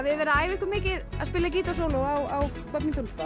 verið að æfa ykkur mikið að spila gítarsóló á